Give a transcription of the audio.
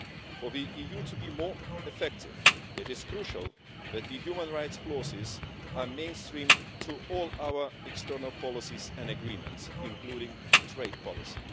For the EU to be more effective, it is crucial that the human rights clauses are mainstreamed to all our external policies and agreements, including trade policy.